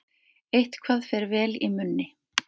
Eitthvað fer vel í munni